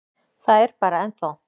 Það er bara. ennþá.